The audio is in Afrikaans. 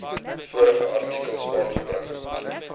vorige artikels aangebring